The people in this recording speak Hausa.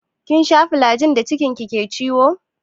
Kin sha flajil da cikin ki ke ciwo?